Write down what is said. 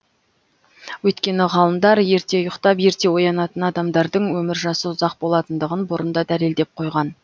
өйткені ғалымдар ерте ұйықтап ерте оянатын адамдардың өмір жасы ұзақ болатындығын бұрын да дәлелдеп қойған